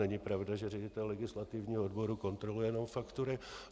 Není pravda, že ředitel legislativního odboru kontroluje jenom faktury.